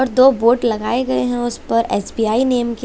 और दो बोर्ड लगाए गए हैं उस पर एस_बी_आई नाम के--